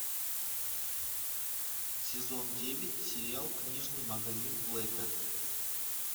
сезон девять сериал книжный магазин блэка